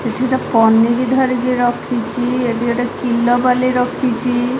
ଏଠିଗୋଟେ ପନିକି ଧରିକି ରଖିଚି ଏଠି ଗୋଟେ କିଲବାଲି ରଖିଚି।